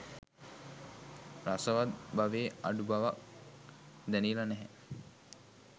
රසවත් බවේ අඩු බවක් දැනිල නැහැ.